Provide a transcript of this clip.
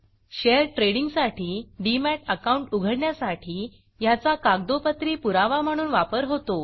share ट्रेडिंगसाठी demat account उघडण्यासाठी ह्याचा कागदोपत्री पुरावा म्हणून वापर होतो